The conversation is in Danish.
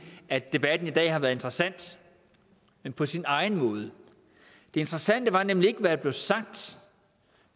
at debatten i dag har været interessant men på sin egen måde det interessante var nemlig ikke hvad der blev sagt